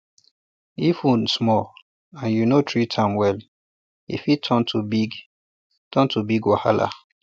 if wound small and you no treat am well e fit turn to big turn to big wahala